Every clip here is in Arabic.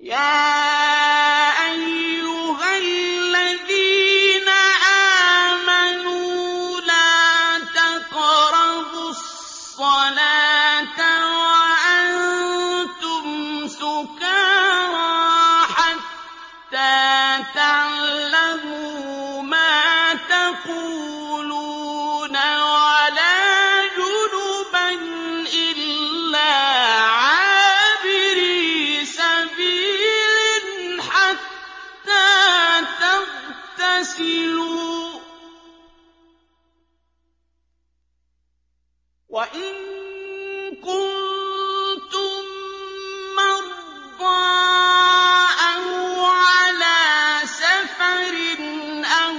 يَا أَيُّهَا الَّذِينَ آمَنُوا لَا تَقْرَبُوا الصَّلَاةَ وَأَنتُمْ سُكَارَىٰ حَتَّىٰ تَعْلَمُوا مَا تَقُولُونَ وَلَا جُنُبًا إِلَّا عَابِرِي سَبِيلٍ حَتَّىٰ تَغْتَسِلُوا ۚ وَإِن كُنتُم مَّرْضَىٰ أَوْ عَلَىٰ سَفَرٍ أَوْ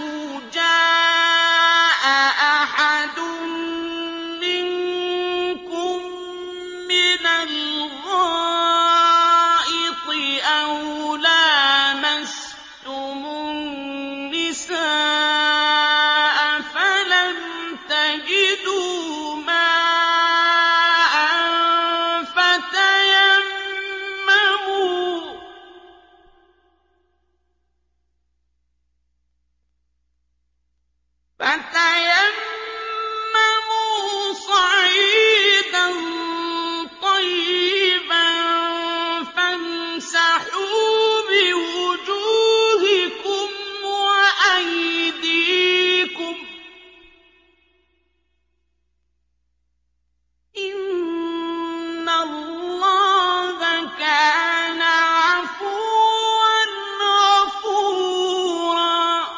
جَاءَ أَحَدٌ مِّنكُم مِّنَ الْغَائِطِ أَوْ لَامَسْتُمُ النِّسَاءَ فَلَمْ تَجِدُوا مَاءً فَتَيَمَّمُوا صَعِيدًا طَيِّبًا فَامْسَحُوا بِوُجُوهِكُمْ وَأَيْدِيكُمْ ۗ إِنَّ اللَّهَ كَانَ عَفُوًّا غَفُورًا